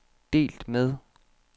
delt med